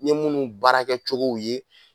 N ye munnu baarakɛcogow ye